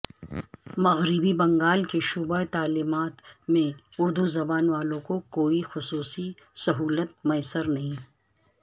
مغربی بنگال کے شعبہ تعلیمات میں اردو زبان والوں کو کوئی خصوصی سہولت میسر نہیں